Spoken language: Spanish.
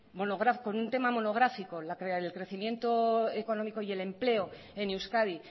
monográfico con un tema monográfico el crecimiento económico y el empleo en euskadi